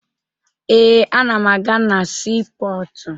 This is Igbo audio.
Ee, ana m aga na siipọọtụ